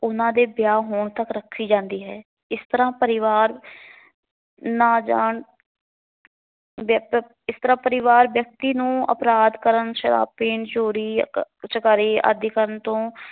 ਉਹਨਾਂ ਦੇ ਵਿਆਹ ਹੋਣ ਤੱਕ ਰੱਖੀ ਜਾਂਦੀ ਹੈ। ਇਸ ਤਰਾ ਪਰਿਵਾਰ ਨਾ ਜਾਣ ਵਿਅਕ ਇਸ ਤਰਾ ਪਰਿਵਾਰ ਵਿਅਕਤੀ ਨੂੰ ਅਪਰਾਧ ਕਰਨ, ਸ਼ਰਾਬ ਪੀਣ, ਚੋਰੀ, ਚਕਾਰੀ ਆਦਿ ਕਰਨ ਤੋਂ